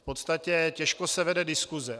V podstatě těžko se vede diskuse.